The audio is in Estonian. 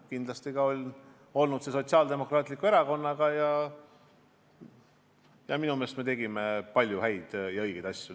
Kindlasti on hea koostöö olnud ka Sotsiaaldemokraatliku Erakonnaga, minu meelest me tegime palju häid ja õigeid asju.